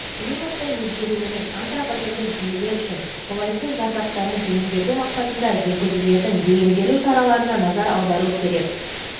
климаттың өзгеруінің антропогендік жүйелер үшін қолайсыз зардаптарын төмендету мақсатында жүргізілетін бейімделу шараларына назар аудару керек